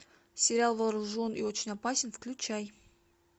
сериал вооружен и очень опасен включай